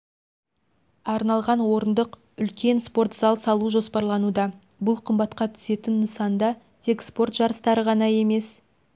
арналған орындық үлкен спорт зал салу жоспарлануда бұл қымбатқа түсетін нысанда тек спорт жарыстары ғана емес